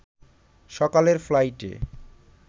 সকালের ফ্লাইটে